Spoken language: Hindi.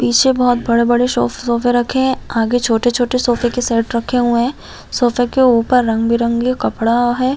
पीछे बहोत बड़े-बड़े सॉफ्ट सोफे रखे है आगे छोटे-छोटे सोफे के सेट रखे हुए है सोफे के ऊपर रंग बिरंगे कपड़ा है ।